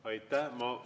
Aitäh!